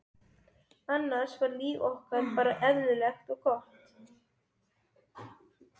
annars var líf okkar bara eðlilegt og gott.